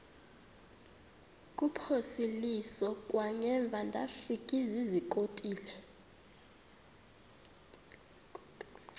kuphosiliso kwangaemva ndafikezizikotile